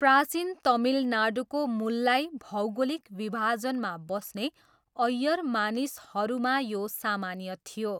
प्राचीन तमिलनाडुको 'मुल्लाई' भौगोलिक विभाजनमा बस्ने अयर मानिसहरूमा यो सामान्य थियो।